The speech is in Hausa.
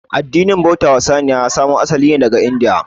Addinin bauta wa saniya ya samo asali ne daga india